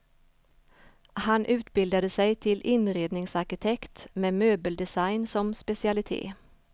Han utbildade sig till inredningsarkitekt med möbeldesign som specialitet.